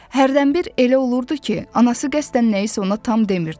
Hərdəmbir elə olurdu ki, anası qəsdən nəyisə ona tam demirdi.